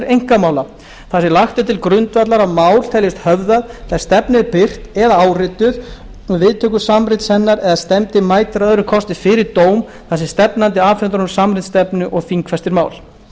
einkamála þar sem lagt er til grundvallar að mál teljist höfðað þegar stefna er birt eða árituð um viðtöku samrits hennar eða stefndi mætir að öðrum kosti fyrir dóm þar sem stefnandi afhendir honum samrit stefnu og þingfestir mál